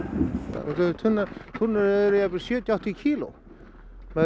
tunnurnar eru jafnvel sjötíu áttatíu kíló maður